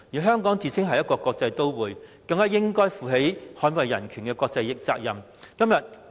香港自稱是一個國際都會，應負起捍衞人權的國際責任。